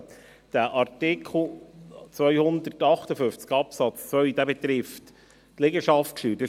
Artikel 258 Absatz 2 betrifft die Liegenschaftssteuer.